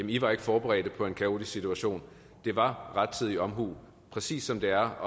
i var ikke forberedt på en kaotisk situation det var rettidig omhu præcis som det er at